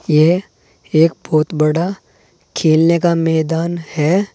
ये एक बहुत बड़ा खेलने का मैदान है।